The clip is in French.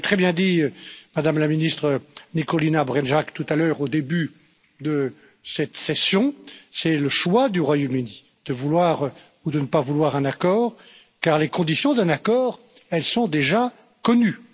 Vous l'avez très bien dit, Madame la Ministre Nikolina Brnjac, tout à l'heure au début de cette session, c'est le choix du Royaume Uni de vouloir ou de ne pas vouloir un accord car les conditions d'un accord sont déjà connues.